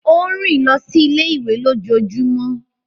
O n rìn lọ sí ilé-ìwé lójoojúmó.